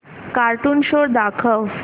cartoon show दाखव